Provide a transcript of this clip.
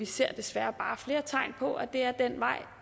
ser desværre bare flere tegn på at det er den vej